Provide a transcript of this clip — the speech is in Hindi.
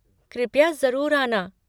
कृपया ज़रूर आना।